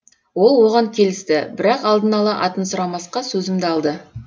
ол оған келісті бірақ алдын ала атын сұрамасқа сөзімді алды